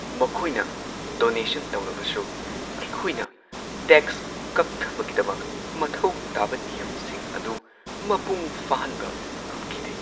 ꯃꯈꯣꯏꯅ ꯗꯣꯅꯦꯁꯟ ꯇꯧꯔꯕꯁꯨ, ꯑꯩꯈꯣꯏꯅ ꯇꯦꯛꯁ ꯀꯛꯊꯕꯒꯤꯗꯃꯛ ꯃꯊꯧ ꯇꯥꯕ ꯅꯤꯌꯝꯁꯤꯡ ꯑꯗꯨ ꯃꯄꯨꯡ ꯐꯥꯍꯟꯕ ꯉꯝꯈꯤꯗꯦ꯫